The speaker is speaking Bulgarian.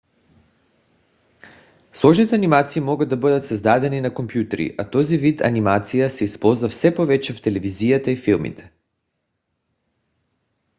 сложните анимации могат да бъдат създадени на компютри а този вид анимация се използва все повече в телевизията и филмите